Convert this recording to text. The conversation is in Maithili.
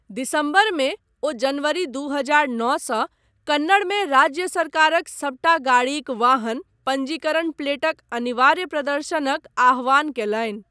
दिसम्बरमे, ओ जनवरी दू हजार नओ सँ कन्नड़मे राज्य सरकारक सबटा गाड़ीक वाहन पञ्जीकरण प्लेटक अनिवार्य प्रदर्शनक आह्वान कयलनि।